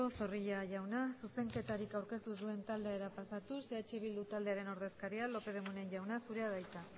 zorrilla jauna zuzenketarik aurkeztu ez duen taldera pasatuz eh bildu taldearen ordezkaria lópez de munain jauna zurea da hitza